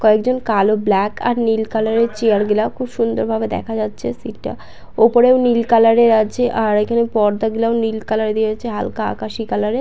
কয়েকজন কালো ব্ল্যাক আর নীল কালার -এর চেয়ার গুলা খুব সুন্দর ভাবে দেখা যাচ্ছে। সিট -টা ওপরেও নীল কালার -এর আছে আর এইখানে পর্দাগুলা নীল কালার -এর আছে হালকা আকাশি কালার -এর।